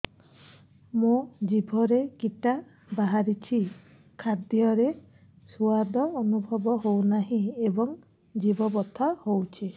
ମୋ ଜିଭରେ କିଟା ବାହାରିଛି ଖାଦ୍ଯୟରେ ସ୍ୱାଦ ଅନୁଭବ ହଉନାହିଁ ଏବଂ ଜିଭ ବଥା ହଉଛି